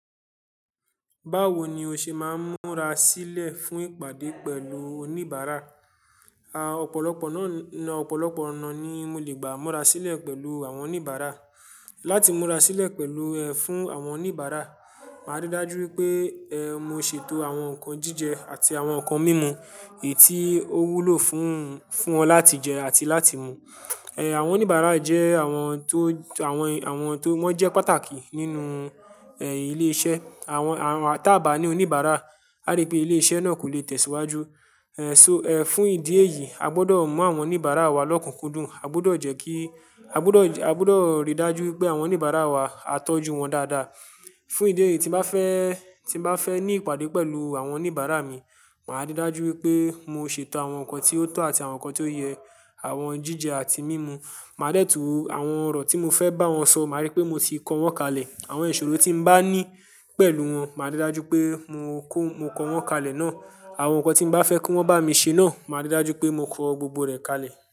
Báwo ni o ṣe máa ń múra sílẹ̀ fún ìpàdé pẹ̀lú oníbàárà? A, ọ̀pọ̀lọpọ̀ náà, ọ̀pọ̀lọpọ̀ ọ̀nà ni mo lè gbà múra sílẹ̀ pẹ̀lú àwọn oníbàárà. Láti múra sílẹ̀ pẹ̀lú, ẹ, fún àwọn oníbàárà, màá ríi dájú wípé, ẹ, mo ṣètò àwọn nǹkan jíjẹ àti àwọn nǹkan mímu èyí tó wúlò fún, fún wọn láti jẹ àti láti mu. Ẹ, àwọn oníbàárà jẹ́ àwọn tó, àwọn, àwọn tó, wọ́n jẹ́ pàtàkì nínú, ẹ, ilé iṣẹ́. Àwọn, àwọn tá bá ní oníbàárà, a rí pé ilé iṣẹ́ náà kò lè tẹ̀síwájú. Ẹ, so, ẹ, fún ìdí èyí, a gbọ́dọ̀ maa àwọn oníbàárà wa lọ́kùnkúndùn. A gbọ́dọ̀ jẹ́ kí, a gbọ́dọ̀, a gbọ́dọ̀ ríi dájú wípé àwọn oníbàárà wa, a tọ́jú wọn dáadáa. Fún ìdí èyí tí n bá fẹ́, tí n bá fẹ́ ní ìpàdé pẹ̀lú àwọn oníbàárà mi, màá ríi dájú wípé mo ṣètò àwọn nǹkan tí ó tọ́ àti àwọn nǹkan tí ó yẹ, àwọn jíjẹ àti mímu. Màá dẹ́tu àwọn ọ̀rọ̀ tí mo fẹ́ bá wọn sọ, màá rí pé mo ti kọ wọ́n kalẹ̀. Àwọn ìṣòro tí n bá ní pẹ̀lú wọn, màá ríi dájú wípé mo kọ́, mo kọ wọ́n kalẹ̀ náà. Àwọn nǹkan tí n bá fẹ́ kí wọ́n bá mi ṣe náà, màá ríi dájú wípé mo kọ gbogbo rẹ̀ kalẹ̀.